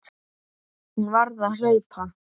Hún varð að hlaupa.